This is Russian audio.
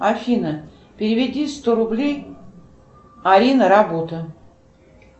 афина переведи сто рублей арина работа